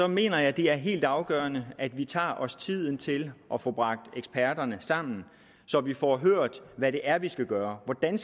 mener jeg det er helt afgørende at vi tager os tiden til at få bragt eksperterne sammen så vi får hørt hvad det er vi skal gøre hvordan